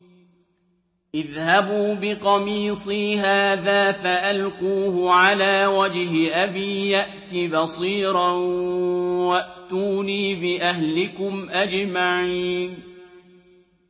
اذْهَبُوا بِقَمِيصِي هَٰذَا فَأَلْقُوهُ عَلَىٰ وَجْهِ أَبِي يَأْتِ بَصِيرًا وَأْتُونِي بِأَهْلِكُمْ أَجْمَعِينَ